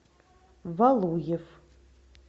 валуев